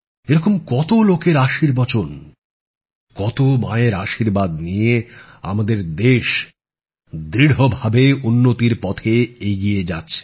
এরকম কতো লোকের আশীর্বচন্ কতো মায়ের আশীর্বাদ নিয়ে আমাদের দেশ দৃঢ়ভাবে উন্নতির পথে এগিয়ে যাচ্ছে